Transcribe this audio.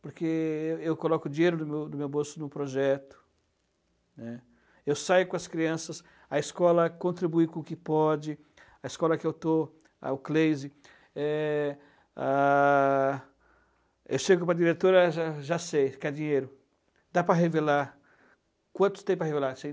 porque eu coloco o dinheiro do meu do meu bolso no projeto, né? Eu saio com as crianças, a escola contribui com o que pode, a escola que eu estou, a o CLEISE, eh ãh, eu chego para a diretora, já já sei, quer dinheiro, dá para revelar, quantos tem para revelar?